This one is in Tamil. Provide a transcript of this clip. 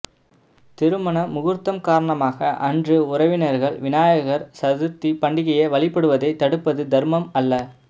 திருமண முகூர்த்தம் காரணமாக அன்று உறவினர்கள் விநாயகர் சதுர்த்தி பண்டிகையை வழிபடுவதை தடுப்பது தர்மம் அல்ல